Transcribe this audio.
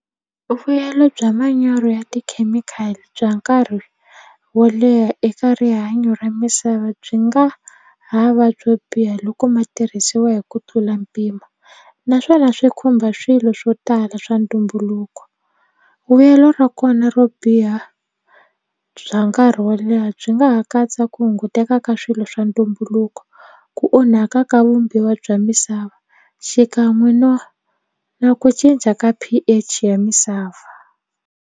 Vuyelo bya manyoro ya tikhemikhali bya nkarhi wo leha eka rihanyo ra misava byi nga hava byo biha loko ma tirhisiwa hi ku tlula mpimo naswona swi khumba swilo swo tala swa ntumbuluko vuyelo ra kona ro biha bya nkarhi wo leha byi nga ha katsa ku hunguteka ka swilo swa ntumbuluko ku onhaka ka vumbiwa bya misava xikan'we no na ku cinca ka P_H ya misava.